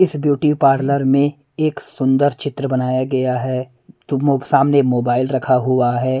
इस beauty parlour में एक सुंदर चित्र बनाया गया है सामने मोबाइल रखा हुआ है।